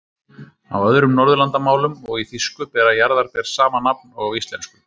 Á öðrum norðurlandamálum og í þýsku bera jarðarber sama nafn og á íslensku.